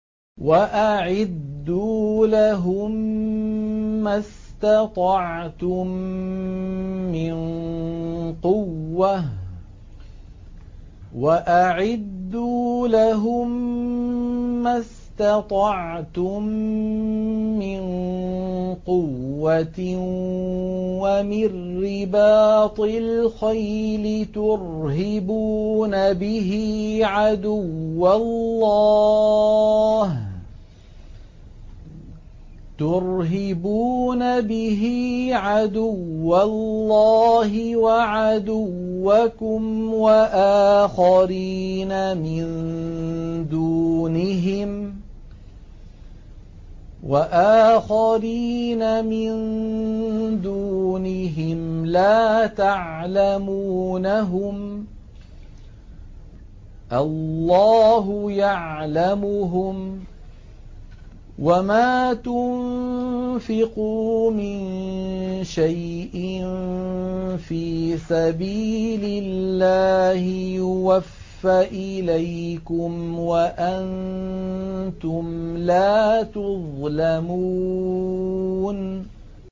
وَأَعِدُّوا لَهُم مَّا اسْتَطَعْتُم مِّن قُوَّةٍ وَمِن رِّبَاطِ الْخَيْلِ تُرْهِبُونَ بِهِ عَدُوَّ اللَّهِ وَعَدُوَّكُمْ وَآخَرِينَ مِن دُونِهِمْ لَا تَعْلَمُونَهُمُ اللَّهُ يَعْلَمُهُمْ ۚ وَمَا تُنفِقُوا مِن شَيْءٍ فِي سَبِيلِ اللَّهِ يُوَفَّ إِلَيْكُمْ وَأَنتُمْ لَا تُظْلَمُونَ